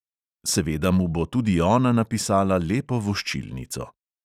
Seveda mu bo tudi ona napisala lepo voščilnico.